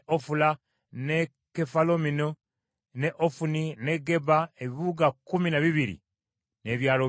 ne Kefalamoni ne Ofuni ne Geba ebibuga kkumi na bibiri n’ebyalo byabyo.